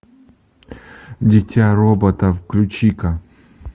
дитя робота включи ка